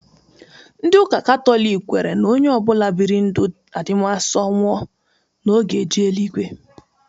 Ndị ụka Katọliki kwere na onye obual biri ndụ adimaso nwụọ, na ọ ga-eje eluigwe